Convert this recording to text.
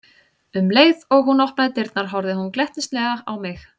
Um leið og hún opnaði dyrnar horfði hún glettnislega á mig.